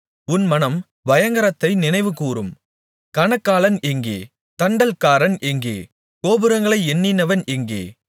உன் மனம் பயங்கரத்தை நினைவுகூரும் கணக்காளன் எங்கே தண்டல்காரன் எங்கே கோபுரங்களை எண்ணினவன் எங்கே